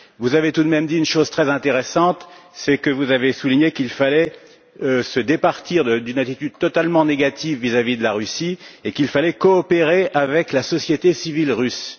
Vous avez tout de même dit une chose très intéressante vous avez souligné qu'il fallait se départir d'une attitude totalement négative vis à vis de la Russie et qu'il fallait coopérer avec la société civile russe.